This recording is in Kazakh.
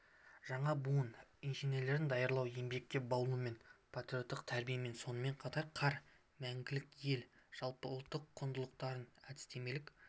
жаңа буын инженерлерін даярлау еңбекке баулумен патриоттық тәрбиемен сонымен қатар қар мәңгілік ел жалпыұлттық құндылықтарын әдістемелік